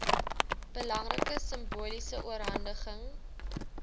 belangrike simboliese oorhandiging